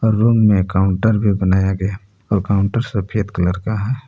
Room में counter भी बनाया गया और काउंटर सफेद कलर का है।